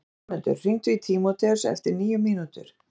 Sölmundur, hringdu í Tímótheus eftir níu mínútur.